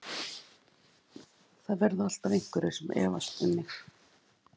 Það verða alltaf einhverjir sem efast um mig.